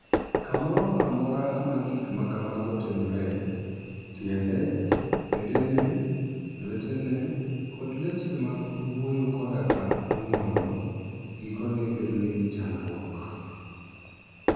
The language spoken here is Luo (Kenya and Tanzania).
Kamoro amora ma gik ma kamago timoree, tiende, bedene, lwetene, koda leche mag wuoyo koda mag ng'olo gikone bedo gi chandruok.